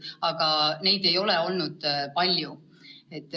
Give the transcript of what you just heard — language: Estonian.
Aga neid juhtumeid ei ole olnud palju.